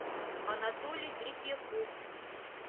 анатолий третьяков